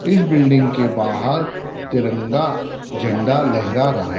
इस बिल्डिंग के बाहर तिरंगा झंडा लहरा रहा--